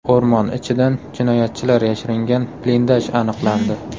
O‘rmon ichidan jinoyatchilar yashiringan blindaj aniqlandi.